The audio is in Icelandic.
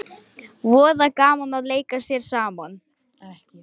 Voða gaman að leika sér saman